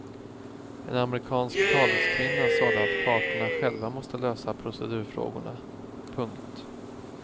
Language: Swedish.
En amerikansk taleskvinna sade att parterna själva måste lösa procedurfrågorna. punkt